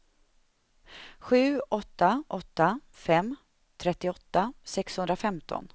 sju åtta åtta fem trettioåtta sexhundrafemton